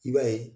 I b'a ye